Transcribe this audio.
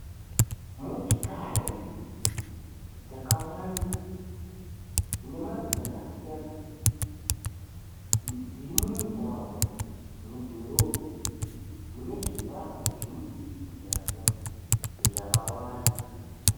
Motikari dzakawanda dzine mari dzakasiyana, dziri mumugwagwa mudhorobha mune zvivakwa zvemudurikidzwana zvakawanda.